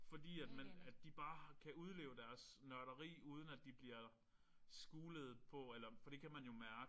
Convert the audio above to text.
Fordi at man at de bare kan udleve deres nørderi uden at de bliver skulet på eller for det kan man jo mærke